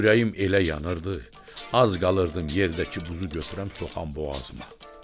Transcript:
Ürəyim elə yanırdı, az qalırdım yerdəki buzu götürəm soxam boğazıma.